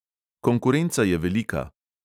Konkurenca je velika.